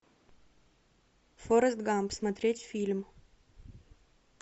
форрест гамп смотреть фильм